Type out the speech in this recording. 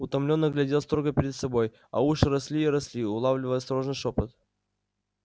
утомлённо глядел строго перед собой а уши росли и росли улавливая осторожный шёпот